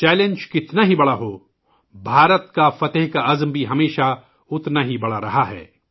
challenge کتنا ہی بڑا ہو ، بھارت کی جیت کا عزم بھی ہمیشہ اتنا ہی بڑا رہا ہے